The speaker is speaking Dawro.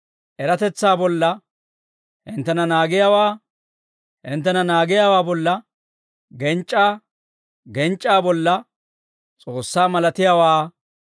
eratetsaa bolla hinttena naagiyaawaa, hinttena naagiyaawaa bolla genc'c'aa, genc'c'aa bolla S'oossaa malatiyaawaa,